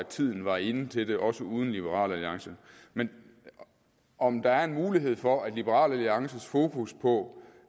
tiden var inde til det også uden liberal alliance men om der er mulighed for at liberal alliances fokus på